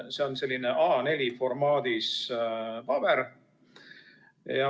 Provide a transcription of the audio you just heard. See on selline A4-formaadis paber.